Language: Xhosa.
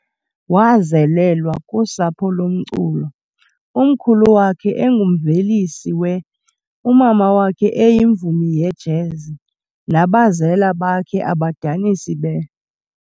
Wazelelwa kusapho lomculo, umkhulu wakhe engumvelisi we, umama wakhe eyimvumi yejazz, nabazela bakhe abadanisi be.